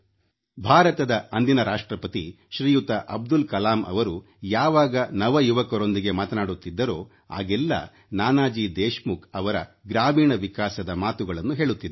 ಭಾರತದ ಅಂದಿನ ರಾಷ್ಟ್ರಪತಿ ಶ್ರೀಯುತ ಅಬ್ದುಲ್ ಕಲಾಂ ಅವರು ಯಾವಾಗ ನವ ಯುವಕರೊಂದಿಗೆ ಮಾತನಾಡುತ್ತಿದ್ದರೋ ಆಗೆಲ್ಲಾ ನಾನಾಜಿ ದೇಶಮುಖ್ ಅವರ ಗ್ರಾಮೀಣ ವಿಕಾಸದ ಮಾತುಗಳನ್ನು ಹೇಳುತ್ತಿದ್ದರು